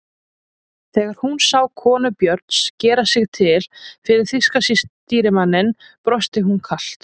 Þegar hún sá konu Björns gera sig til fyrir þýska stýrimanninum brosti hún kalt.